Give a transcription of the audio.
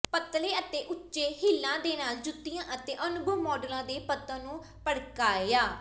ਪਤਲੇ ਅਤੇ ਉੱਚੇ ਹੀਲਾਂ ਦੇ ਨਾਲ ਜੁੱਤੀਆਂ ਅਤੇ ਅਨੁਭਵੀ ਮਾੱਡਲਾਂ ਦੇ ਪਤਨ ਨੂੰ ਭੜਕਾਇਆ